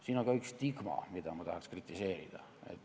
Siin on ka üks stigma, mida ma tahaks kritiseerida.